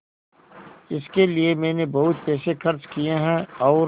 इसके लिए मैंने बहुत पैसे खर्च किए हैं और